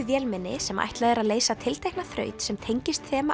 vélmenni sem ætlað er að leysa tiltekna þraut sem tengist þema